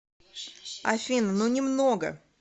афина ну немного